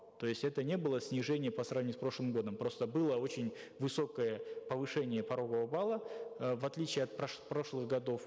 то есть это не было снижение по сравнению с прошлым годом просто было очень высокое повышение порогового балла э в отличие от прошлых годов